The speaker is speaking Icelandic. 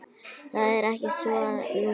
Það er ekki svo núna.